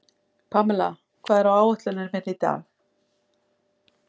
Pamela, hvað er á áætluninni minni í dag?